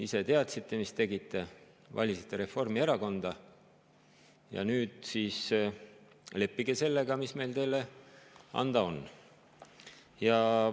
Ise teadsite, mida tegite, valisite Reformierakonda, ja nüüd leppige sellega, mis meil teile anda on.